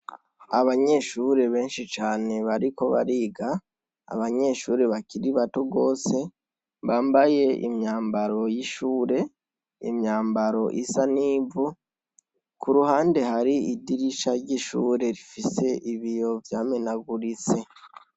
Abanyeshure benshi cane bariko bariga, abanyeshure bakiri bato gose bambaye imyambaro y'ishure, imyambaro isa n'ivu. Kuruhande hari idirisha ry'ishure rifise ibiyo vya menaguritse.